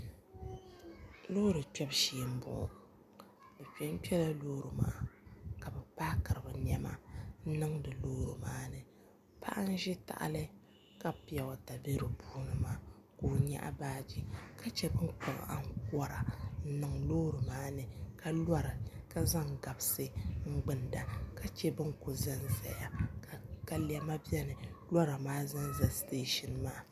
Loori kpɛbu shee m-bɔŋɔ bɛ yɛn kpɛla loori maa ka paakiri bɛ nɛma n-niŋdi loori maa ni paɣa n-ʒi tahili ka piyoowata be di puuni maa ka o nyaɣi baaji ka shɛba mi kpuɣi ankɔra n-niŋ loori maa ni ka lora ka zaŋ gabisi n-gbunda ka che ban kuli zanzaya ka lɛma beni loori maa zanza teesa maa